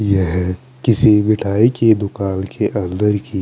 यह किसी मिठाई की दूकान के अन्दर की--